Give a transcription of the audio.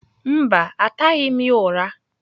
Mba, ataghị m ya ụra